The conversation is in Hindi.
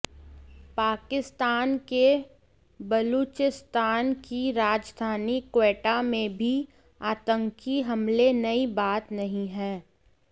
पाकिस्तान के बलूचिस्तान की राजधानी क्वेटा में भी आतंकी हमले नई बात नहीं है